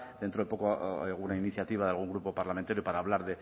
dentro de poco alguna iniciativa de algún grupo parlamentario para hablar